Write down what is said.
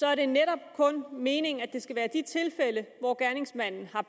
er det netop meningen at det kun skal være de tilfælde hvor gerningsmanden fra